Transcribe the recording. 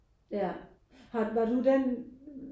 Ja har var du den